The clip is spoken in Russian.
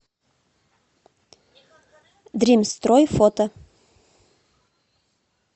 дримстрой фото